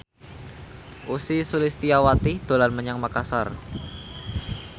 Ussy Sulistyawati dolan menyang Makasar